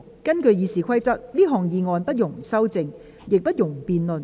根據《議事規則》，這項議案不容修正，亦不容辯論。